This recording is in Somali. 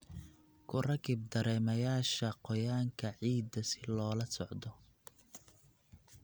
Ku rakib dareemayaasha qoyaanka ciidda si loola socdo.